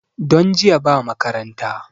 Don jiya ba makaranta